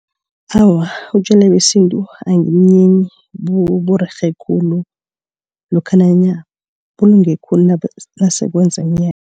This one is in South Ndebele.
Awa utjwala besintu angibunyenyi burerhe khulu lokha nanyana bulunge khulu nase